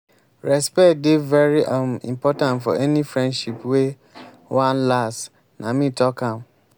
respect dey very um important for any friendship wey wan last nah me talk am.